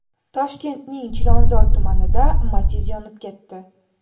Toshkentning Chilonzor tumanida Matiz yonib ketdi.